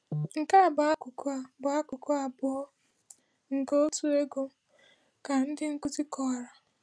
“Nke a bụ akụkụ a bụ akụkụ abụọ nke otu ego,” ka ndị nkuzi kọwara.